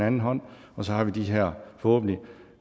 anden hånd og så har vi de her forhåbentlig